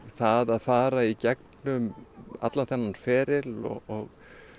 það að fara í gegnum allan þennan feril og